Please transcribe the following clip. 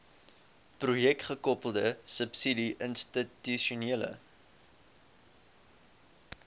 projekgekoppelde subsidie institusionele